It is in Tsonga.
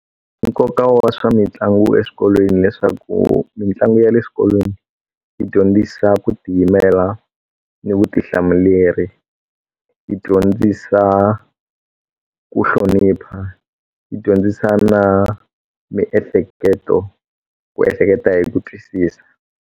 Nkoka wa swa mitlangu eswikolweni leswaku mitlangu ya le xikolweni yi dyondzisa ku tiyimela ni vutihlamuleri yi dyondzisa ku hlonipha yi dyondzisa na miehleketo ku ehleketa hi ku twisisa.